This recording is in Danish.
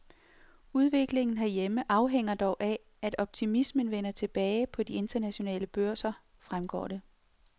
Udviklingen herhjemme afhænger dog af, at optimismen vender tilbage på de internationale børser, fremgår det.